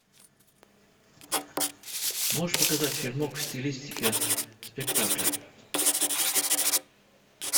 можешь показать фильмок в стилистике спектакля